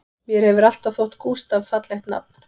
Mér hefur alltaf þótt Gústaf fallegt nafn